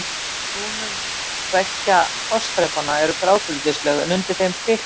Í brúnum beggja fossþrepanna eru grágrýtislög en undir þeim þykk setlög.